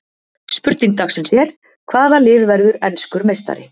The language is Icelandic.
Spurning dagsins er: Hvaða lið verður enskur meistari?